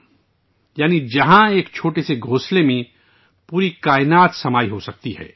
یعنی جہاں پوری دنیا ایک چھوٹے سے گھونسلے میں سماسکتی ہے